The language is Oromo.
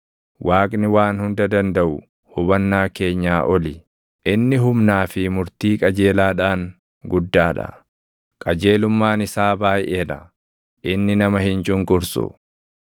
Waaqni Waan Hunda Dandaʼu hubannaa keenyaa oli; inni humnaa fi murtii qajeelaadhaan guddaa dha; qajeelummaan isaa baayʼee dha; inni nama hin cunqursu.